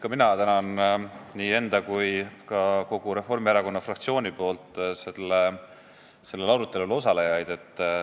Ka mina tänan nii enda kui ka kogu Reformierakonna fraktsiooni nimel sellel arutelul osalejaid.